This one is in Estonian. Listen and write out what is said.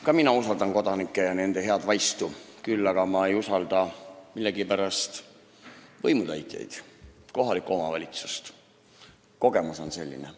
Ka mina usaldan kodanikke ja nende head vaistu, küll aga ei usalda ma millegipärast võimutäitjaid, kohalikku omavalitsust – kogemus on selline.